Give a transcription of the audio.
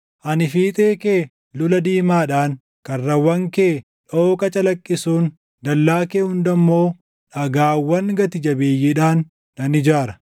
Ani fiixee kee lula diimaadhaan, karrawwan kee dooqa calaqqisuun, dallaa kee hunda immoo dhagaawwan gati jabeeyyiidhaan nan ijaara.